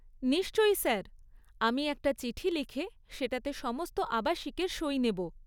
নিশ্চয়ই স্যার, আমি একটা চিঠি লিখে সেটাতে সমস্ত আবাসিকের সই নেব।